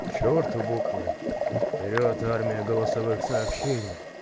к чёрту буквы вперёд армия голосовых сообщений